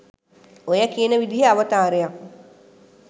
ඔය කියන විදිහේ අවතාරයක්